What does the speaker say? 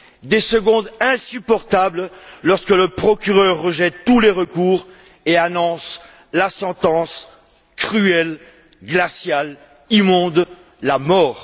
Des secondes insupportables lorsque le procureur rejette tous les recours et annonce la sentence, cruelle, glaciale, immonde la mort!